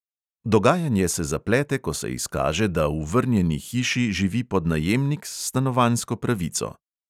Dogajanje se zaplete, ko se izkaže, da v vrnjeni hiši živi podnajemnik s stanovanjsko pravico.